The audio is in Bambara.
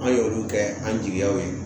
An y'olu kɛ an jigiyaw ye